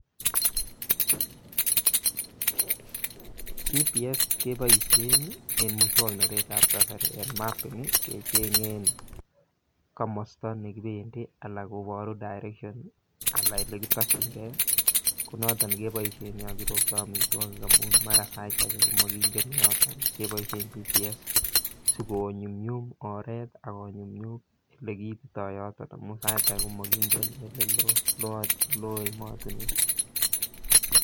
GPS keboisien en moswoknatetab Kasari en mapping kechengen komosta ne kibendi anan kobor direction Alan Ole kitokyinge ko noton keboisien keropto amitwogik amun mara sait age komakingen yoto keboisien GPS si konyumnyum oret ak konyumnyum Ole kiitoto yoto amun sait age komakiitito Ole lo lo kot lo emotinwek